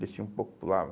Descia um pouco e pulava.